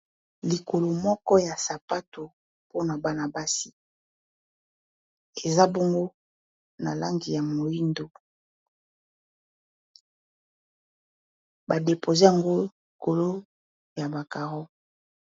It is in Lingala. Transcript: Likolo moko ya sapato mpona bana-basi eza bongo na langi ya moyindo, ba depose yango likolo ya ba caro.